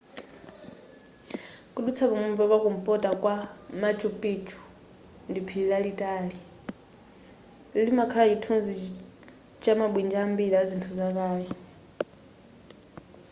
kudutsa pamwamba pa kumpota kwa machu picchu ndi phiri lalitali limakhala chithunzi chamabwinja ambiri a zinthu zakale